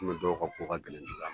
Ukomi dɔw ka ko ka gɛlɛn cogoya